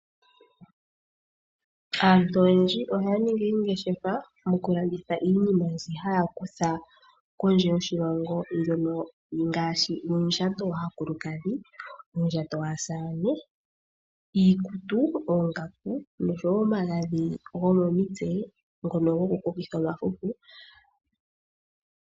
Aantu oyendji oyaningi oongeshefa moka haya landitha iinima mbyoka haya kutha kondje yoshilongo ngaashi uundjato waakulukadhi, uundjato waasane, iikutu, oonkaku nomagadhi gomomitse ngono goku kokitha omafufu.